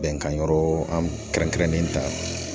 Bɛnkan yɔrɔ an kɛrɛn kɛrɛnnen ta